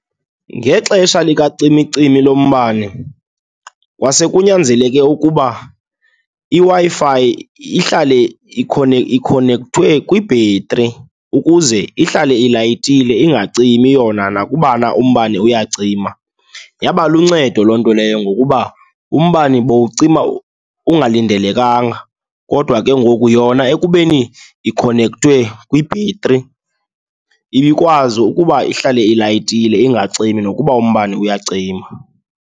Ngexesha likacimicimi lombane kwase kunyanzeleke ukuba iWi-Fi ihlale ikhonekthwe kwibhetri ukuze ihlale itayitile, ingacimi yona nakubana umbane uyacima. Yaba luncedo loo nto leyo ngokuba umbane bowucima ungalindelekanga kodwa ke ngoku yona ekubeni ikhonekthwe kwibhetri, ibikwazi ukuba ihlale itayitile ingacimi nokuba umbane uyacima.